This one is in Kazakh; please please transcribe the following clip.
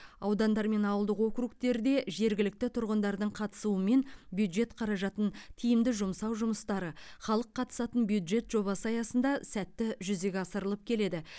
аудандар мен ауылдық округтерде жергілікті тұрғындардың қатысуымен бюджет қаражатын тиімді жұмсау жұмыстары халық қатысатын бюджет жобасы аясында сәтті жүзеге асырылып келеді